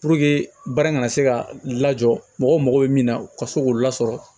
baara kana se ka lajɔ mɔgɔw mago bɛ min na ka se k'o lasɔrɔ